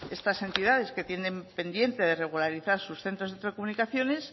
estas entidades que tienen pendiente de regularizar sus centros de telecomunicaciones